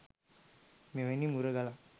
මෙවැනි මුරගලක්